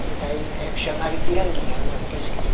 Essa daí é chamava Ipiranguinha, era uma que eu esqueci.